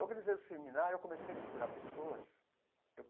Organizei o seminário, comecei a procurar pessoas.